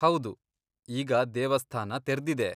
ಹೌದು, ಈಗ ದೇವಸ್ಥಾನ ತೆರ್ದಿದೆ.